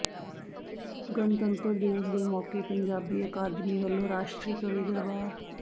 ਗਣਤੰਤਰ ਦਿਵਸ ਦੇ ਮੌਕੇ ਪੰਜਾਬੀ ਅਕਾਦਮੀ ਵੱਲੋਂ ਰਾਸ਼ਟਰੀ ਕਵੀ ਦਰਬਾਰ